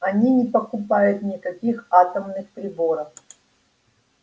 они не покупают никаких атомных приборов